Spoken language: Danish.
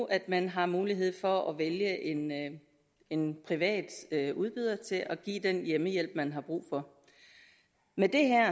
at man har mulighed for at vælge en privat udbyder til at give den hjemmehjælp man har brug for med det her